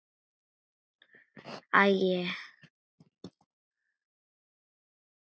Við áttum þrjú.